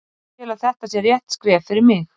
Ég tel að þetta sé rétt skref fyrir mig.